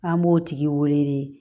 An b'o tigi wele de